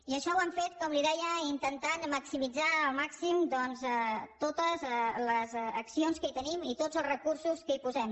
i això ho hem fet com li deia intentant maximitzar al màxim doncs totes les accions que hi tenim i tots els recursos que hi posem